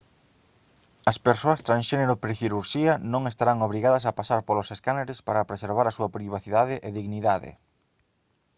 as persoas transxénero precirurxía non estarán obrigadas a pasar polos escáneres para preservar a súa privacidade e dignidade